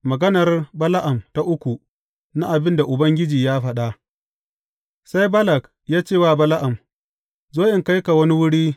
Maganar Bala’am ta uku na abin da Ubangiji ya faɗa Sai Balak ya ce wa Bala’am, Zo in kai ka wani wuri.